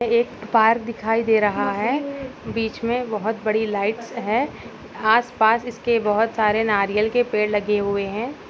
एक पार्क दिखाई दे रहा है बीच में बहुत बड़ी लाइट्स है आसपास इसके बहुत से नारियल के पेड़ लगे हुए हैं।